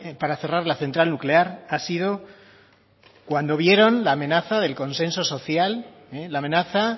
para cerrar la central nuclear ha sido cuando vieron la amenaza del consenso social la amenaza